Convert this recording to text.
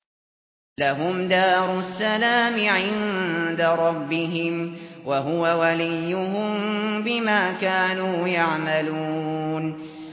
۞ لَهُمْ دَارُ السَّلَامِ عِندَ رَبِّهِمْ ۖ وَهُوَ وَلِيُّهُم بِمَا كَانُوا يَعْمَلُونَ